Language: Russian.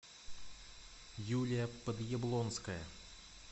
юлия подъяблонская